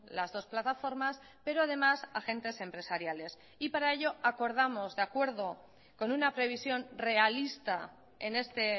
las dos plataformas pero además agentes empresariales y para ello acordamos de acuerdo con una previsión realista en este